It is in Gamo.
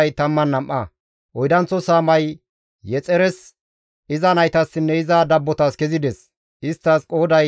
Oydanththo saamay Yexires, iza naytassinne iza dabbotas kezides; isttas qooday 12.